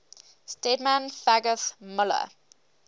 stedman fagoth muller